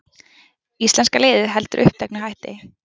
Íslenska liðið heldur uppteknu hætti